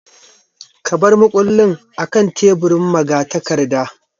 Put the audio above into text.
Ka bar mukullin akan teburin magatakarda.